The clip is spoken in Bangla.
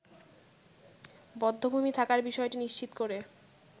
বধ্যভূমি থাকার বিষয়টি নিশ্চিত করে